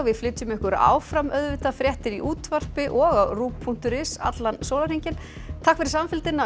flytjum ykkur áfram fréttir í útvarpi og á ruv punktur is allan sólarhringinn takk fyrir samfylgdina um